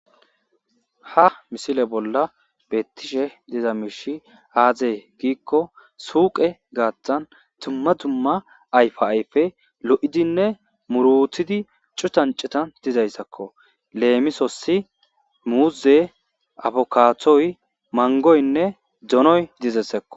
Ha missile bolla betishe diza mishi aze giikko suqe gathana dumma dumma ayifa ayife lo'idinne murutidi cuttan cuttan dizayisakko lemisosi muze afukatoyi mangoyinne doonoyi dizayisakko.